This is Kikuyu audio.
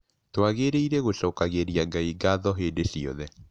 Twagĩrĩirũo gũcokagĩria Ngai ngatho hĩndĩ ciothe.